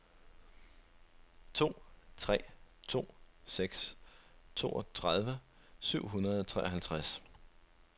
to tre to seks toogtredive syv hundrede og treoghalvtreds